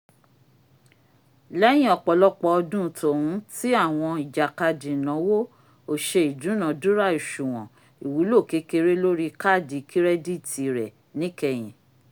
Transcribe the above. lẹyìn ọpọlọpọ ọdun tòhún ti awọn ijakadi inawo o ṣe idunadura oṣuwọn iwulo kekere lori kaadi kirẹditi rẹ níkẹyìn